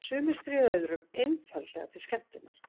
Sumir stríða öðrum einfaldlega til skemmtunar.